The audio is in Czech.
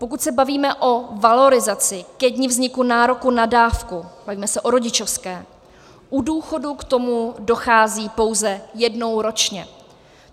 Pokud se bavíme o valorizaci ke dni vzniku nároku na dávku, bavíme se o rodičovské, u důchodů k tomu dochází pouze jednou ročně.